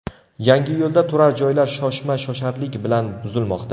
Yangiyo‘lda turar joylar shoshma-shosharlik bilan buzilmoqda.